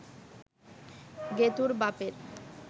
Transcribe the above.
গেতুঁর বাপের